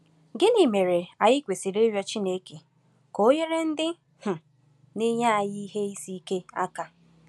Gịnị mere anyị kwesịrị ịrịọ Chineke ka o nyere ndị um na-eyi anyị ihe isi ike aka?